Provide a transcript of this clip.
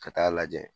Ka taa lajɛ